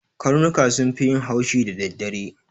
Karnuka sun fi yin haushi da daddare.